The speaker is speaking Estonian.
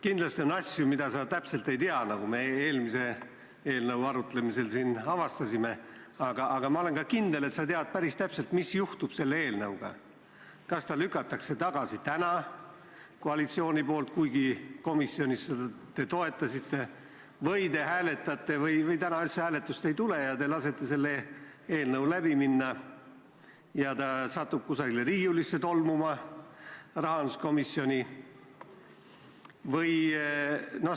Kindlasti on asju, mida sa täpselt ei tea, nagu me eelmise eelnõu arutlemisel avastasime, aga ma olen kindel, et sa tead päris täpselt, mis juhtub selle eelnõuga, kas ta lükatakse tagasi täna koalitsiooni poolt , te hääletate või täna üldse hääletust ei tule ja te lasete sellel eelnõul läbi minna ja ta satub kuskile rahanduskomisjoni riiulisse tolmuma.